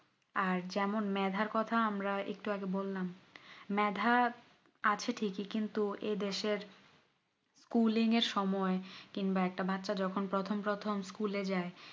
আর যেমন মেধার কোথাও আমরা একটু আগে বললাম মেধা আছে কিন্তু এ দেশ এর schooling এর সময় কিংবা একটা বাচ্চা যখন প্রথম প্রথম school এ যাই